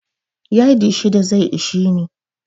Yadi shida zai ishe ni.